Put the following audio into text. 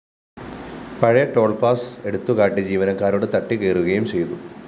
പഴയ toll pass എടുത്തുകാട്ടി ജീവനക്കാരോട് തട്ടിക്കയറുകയും ചെയ്തു